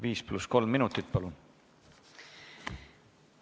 Viis pluss kolm minutit, palun!